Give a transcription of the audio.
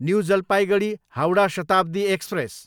new Jalpaiguri, Howrah Shatabdi express